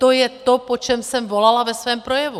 To je to, po čem jsem volala ve svém projevu.